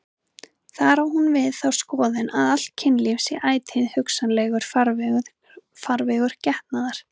Þar á hún við þá skoðun að allt kynlíf sé ætíð hugsanlegur farvegur getnaðar.